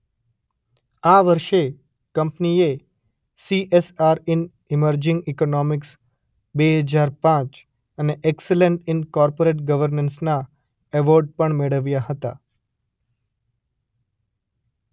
આ વર્ષે કંપનીએ સી_શબ્દ એસ_શબ્દ આર_શબ્દ ઇન ઇમર્જિંગ ઇકોનોમિક્સ બે હજાર પાંચ અને એક્સલન્સ ઇન કોર્પોરેટ ગર્વનન્સના અવોર્ડ પણ મેળવ્યા હતા.